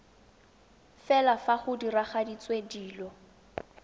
fela fa go diragaditswe dilo